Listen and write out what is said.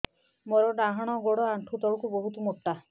ମୋର ଡାହାଣ ଗୋଡ ଆଣ୍ଠୁ ତଳୁକୁ ବହୁତ ମୋଟା